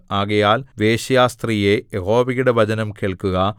ആകയാൽ വേശ്യാസ്ത്രീയേ യഹോവയുടെ വചനം കേൾക്കുക